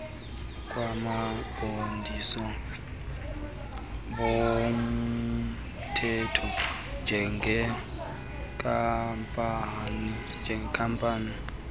kwabaqondisi bomthetho njengenkampani